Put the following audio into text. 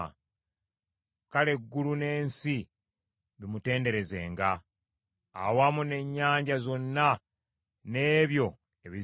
Kale eggulu n’ensi bimutenderezenga awamu n’ennyanja zonna n’ebyo ebizirimu.